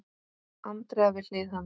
Andrea við hlið hans.